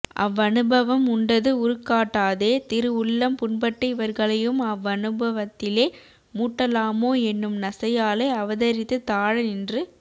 அவ்வனுபவம் உண்டது உருக்காட்டாதே திரு உள்ளம் புண்பட்டு இவர்களையும் அவ்வநுபவத்திலே மூட்டலாமோ என்னும் நசையாலே அவதரித்து தாழ நின்று